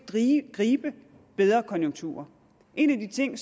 gribe de bedre konjunkturer en af de ting